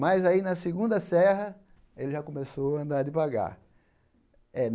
Mas aí, na segunda serra, ele já começou a andar devagar.